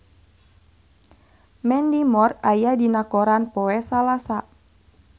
Mandy Moore aya dina koran poe Salasa